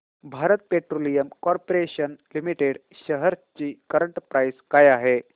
Bharat petroleum corporation limited shares ची current price काय आहे